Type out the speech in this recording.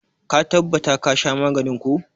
Ka tabbata ka sha maganin ko!